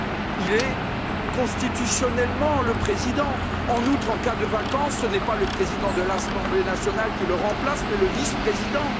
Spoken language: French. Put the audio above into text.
Il est constitutionnellement le président. En outre, en cas de vacance, ce n'est pas le président de l'Assemblée nationale qui le remplace, mais le vice président.